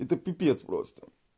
это пипец просто